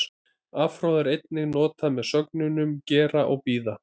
Afhroð er einnig notað með sögnunum gera og bíða.